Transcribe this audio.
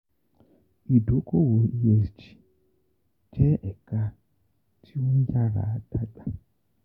Idokowo ESG jẹ eka ti o nyara dagba..